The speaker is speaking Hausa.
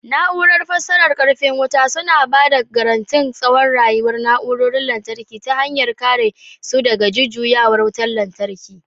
Na'urar fasarar karfin wuta suna ba da garantin tsawon rayuwar na'urorin lantarki ta hanyar kare su daga jujjuyawar wutar lantarki.